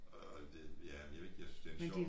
Og og det ja jeg ved ikke jeg synes det en sjov